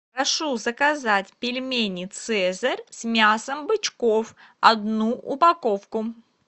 прошу заказать пельмени цезарь с мясом бычков одну упаковку